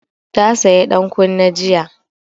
Ta saya dan kunne jiya